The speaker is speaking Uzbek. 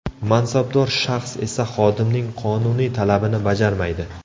Mansabdor shaxs esa xodimning qonuniy talabini bajarmaydi.